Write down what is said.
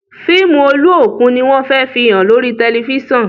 fíìmù Oluokun ní wón fè fihàn lórí tẹlifísàn.